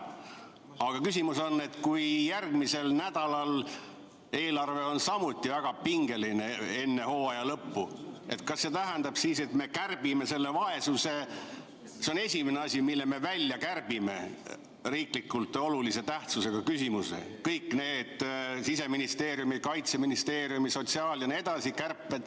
Aga küsimus on selline: kui järgmisel nädalal eelarve on samuti väga pingeline enne hooaja lõppu, kas see tähendab siis, et me kärbime vaesust – see on esimene asi, mille me välja kärbime –, riiklikult olulise tähtsusega küsimuse, kõik need Siseministeeriumi, Kaitseministeeriumi, sotsiaal- jne kärped.